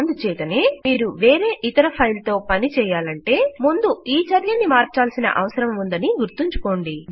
అందు చేతనే మీరు వేరే ఇతర ఫైల్ తో పని చెయ్యాలంటే ముందు ఈ చర్యని మార్చాల్సిన అవసరం ఉందని గుర్తుంచుకోండి